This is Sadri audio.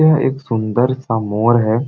यह एक सुन्दर सा मोर हे।